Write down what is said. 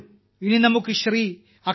വരൂ ഇനി നമുക്ക് ശ്രീ